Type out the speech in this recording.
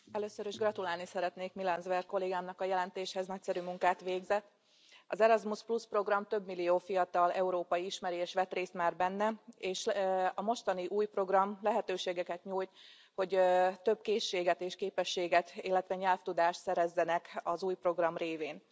Tisztelt Elnök Úr! Először is gratulálni szeretnék Milan Zver kollégámnak a jelentéshez, nagyszerű munkát végzett. Az Erasmus Plus programot több millió fiatal európai ismeri és vett részt már benne, és a mostani, új program lehetőségeket nyújt, hogy több készséget és képességet, illetve nyelvtudást szerezzenek az új program révén.